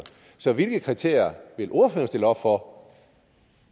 så hvilke kriterier vil ordføreren stille op for